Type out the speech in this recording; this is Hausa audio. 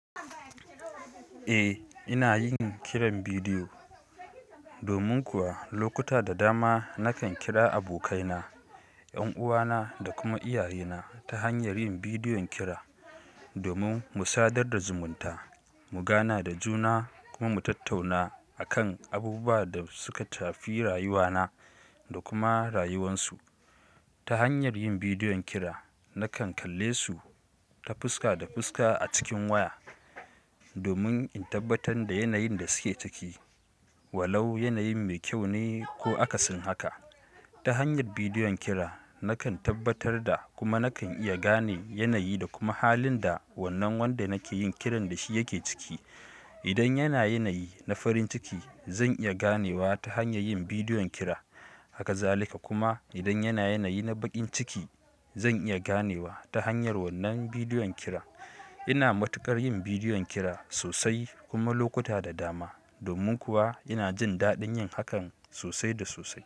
Eh, ina yin kiran bidiyo. Domin kuwa lokuta da dama nakan kira abokaina, ƴan uwana da kuma iyayena ta hanyar yin bidiyon kira. Domin mu sadar da zumunta, mu gana da juna kuma mu tattauna akan abubuwa da suka tafi rayuwana da kuma rayuwansu. Ta hanyar yin bidiyon kira, nakan kalle su ta fuska da fuska a cikin waya, domin in tabbatar da yanayin da suke ciki, walau yanayin mai kyau ne ko akasin haka. Ta hanyar bidiyon kira nakan tabbatar da kuma nakan iya gane yanayi da kuma halin da wannan wanda nake yin kiran da shi yake ciki. Idan yana yanayi na farin ciki, zan iya ganewa ta hanyar yin bidiyon kira. Hakazalika kuma idan yana yanayi na bakin ciki, zan iya ganewa ta hanyar wannan bidiyon kiran. Ina matukar yin bidiyon kira sosai kuma lokuta da dama. Domin kuwa ina jin daɗin yin hakan sosai da sosai.